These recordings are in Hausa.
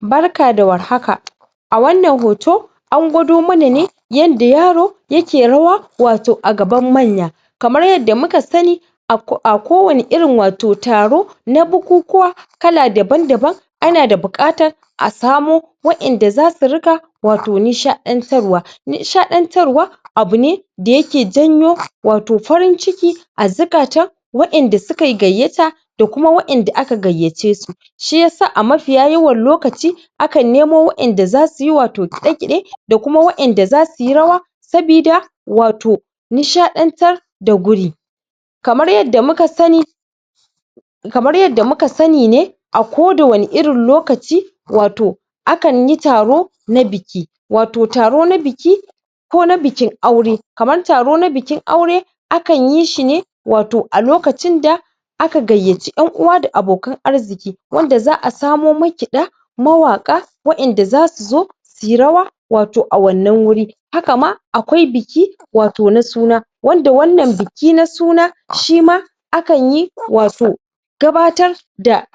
Barka da warhaka a wannan hoto an gwado mana ne yadda yaro yake rawa wato a gaban manya kamar yadda muka sani ako ako kowanne irin wato taro na bukukuwa kala daban daban ana da buƙatar a samo waɗanda zasu riƙa wato nishaɗantarwa nishaɗantarwa abu ne da yake jawo wato farin ciki zukatan waɗanda sukayi gayyata da kuma waɗanda aka gayyace su shiyasa a mafiya yawan lokaci akan nemo waɗanda zasuyi wato kiɗe-ƙide da kuma da waɗanda da zasuyi rawa sabida wato nishaɗantar da guri kamar yadda muka sani kamar yadda muka sani ne a kowanne irin lokaci wato akan yi taro na biki wato taro na biki ko na bikin aure kamar taro na bikin aure akan yi shi ne wato a lokacin da da aka gayyaci yan uwa da abokan arziki wanda za’a samo makiɗa mawaƙa wa’yanda zasu zo suyi rawa wato a wannan wuri haka ma akwai biki wato na suna wannan biki na suna shima akan yi wato gabatar da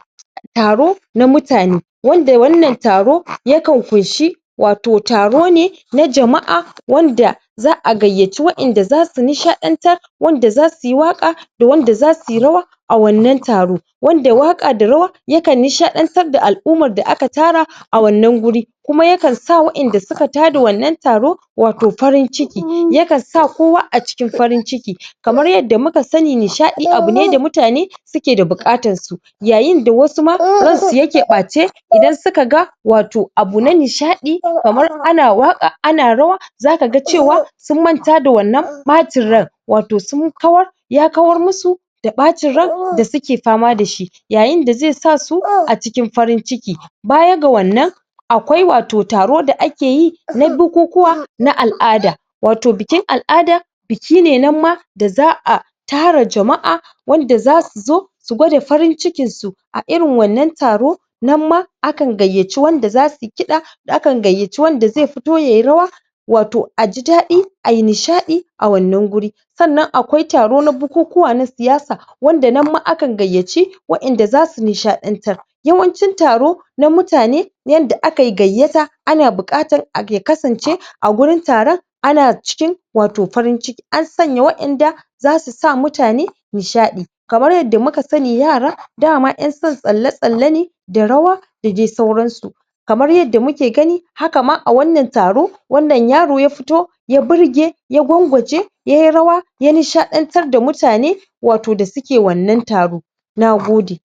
taro na mutane wanda wannan taro kan ƙunshi wato taro ne na jama’a wanda za’a gayyaci waɗanda zasu nishaɗantar wanda zasuyi waƙa da wanda zasuyi rawa a wannan taro wanda waƙa da rawa yakan nishaɗantar da al’ummar da aka tara a wannan wuri kuma yakan sa waɗanda suka tara wannan taro wato farin ciki yakan sa kowa a cikin farin ciki kamar yadda muka sani nishaɗi abu ne da mutane uke buƙatar su yayi da wasu ma ran su yake ɓace idan suka ga wato abu na nishaɗi kamar ana waƙa ana rawa zaka ga cewa sun manta da wannan ɓacin ran wato sun kawar ya kawar musu da ɓacin ran da suke fama dashi yayin dazai sa su acikin farin cikin baya ga wannan akwai wato taro da ake yi ba bukukuwa na al’ada wato bikin al’ada biki ne nan ma da za'a tara jama’a wanda zasu zo su gwada farin cikin su a irin wannan taro nan ma akan gayyaci wanda zasuyi kiɗa akan gayyaci wanda zai fito yayi rawa wato aji daɗi ayi nishaɗi a wannan wuri sannan akwai taro na bukukuwa na siyasa wanda nan ma akan gayyaci wa’yanda zasu nishaɗantar yawanci taro na mutane yanda akayi gayyata ana bukatar a ya kasance a wurin taron a cikin wato farin ciki an sanya wa’yanda zasu sa mutane nishaɗi kamar yadda muka sani yara daman yan san tsale tsale ne da rawa da dai sauransu kamar yadda muke gani haka ma a wannan taro wannan yaro ya fito ya burge ya gwangwaje yayi rawa ya nishaɗantar da mutane wato da suke wannan nagode